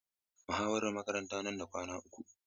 Muhawarar makaranta ta nan da kwana uku.